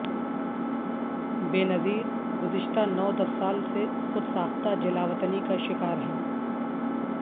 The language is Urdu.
بے نظیرگزشتہ نو دس سال سے خود ساختہ جلاوطنی کا شکار ہیں